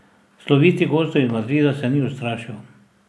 Slovitih gostov iz Madrida se ni ustrašil.